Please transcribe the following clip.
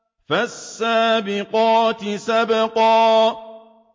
فَالسَّابِقَاتِ سَبْقًا